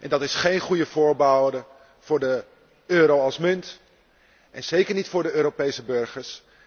Dat is geen goede voorbode voor de euro als munt en zeker niet voor de Europese burgers.